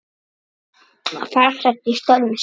Farsæll í störfum sínum.